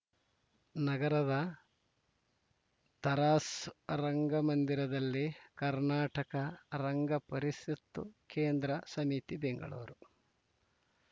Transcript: ನಗರದ ತರಾಸ್ ರಂಗಮಂದಿರದಲ್ಲಿ ಕರ್ನಾಟಕ ರಂಗಪರಿಸತ್‌ ಕೇಂದ್ರ ಸಮಿತಿ ಬೆಂಗಳೂರು